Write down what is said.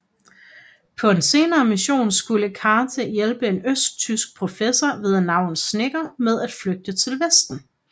På en senere mission skulle Cate hjælpe en østtysk professor ved navn Schenker med at flygte til vesten